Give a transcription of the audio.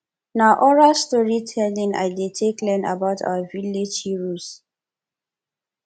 na oral storytelling i take learn about our village heroes